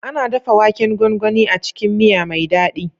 Ana dafa waken gwangwani a cikin miya mai daɗi.